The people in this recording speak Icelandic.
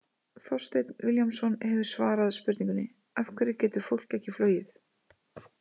Þorsteinn Vilhjálmsson hefur svarað spurningunni: Af hverju getur fólk ekki flogið?